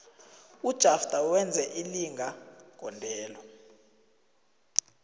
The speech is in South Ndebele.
ujafter wenze ilinga gondelo